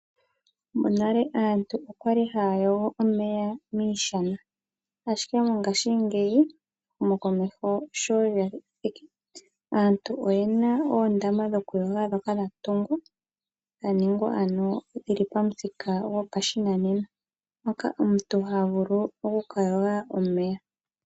Monale aantu okwali haya yogo omeya miishana, ashike mongashingeyi ehumo komeho sho lyathiki aantu oyena oondama dhokuyoga ndhoka dhatungwa, dha ningwa ano dhili pathinka gopashinanena moka omuntu ha vulu okuka yoga omeya.